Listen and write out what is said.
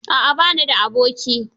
A'a ba ni da aboki.